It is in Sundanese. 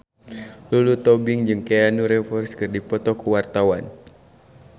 Lulu Tobing jeung Keanu Reeves keur dipoto ku wartawan